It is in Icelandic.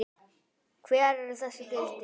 Hver eru þessi gildi?